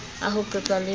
a ho qeka le ho